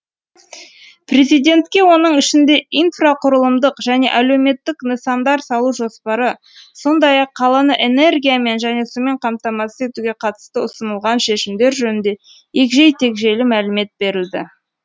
президентке оның ішінде инфрақұрылымдық және әлеуметтік нысандар салу жоспары сондай ақ қаланы энергиямен және сумен қамтамасыз етуге қатысты ұсынылған шешімдер жөнінде егжей тегжейлі мәлімет берілді